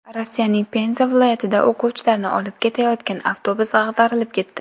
Rossiyaning Penza viloyatida o‘quvchilarni olib ketayotgan avtobus ag‘darilib ketdi.